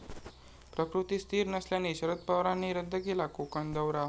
प्रकृती स्थिर नसल्याने शरद पवारांनी रद्द केला कोकण दौरा